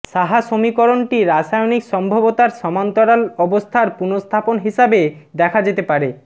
সাহা সমীকরণটি রাসায়নিক সম্ভাব্যতার সমান্তরাল অবস্থার পুনঃস্থাপন হিসাবে দেখা যেতে পারে